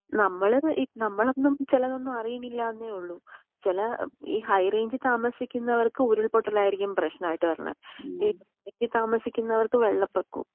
നമ്മളിത് നമ്മളൊന്നും ചിലതൊന്നും അറിയിണിലാന്നെ ഒള്ളു. ചില ഈ ഹൈറേഞ്ചി താമസിക്കുന്നവർക്ക് ഉരുൾ പൊട്ടലായിരിക്കും പ്രേശ്നമായിട്ട് വരുന്നേ. ഈ ലോ റേഞ്ച് താമസിക്കുന്നവർക്ക് വെള്ളപൊക്കോം.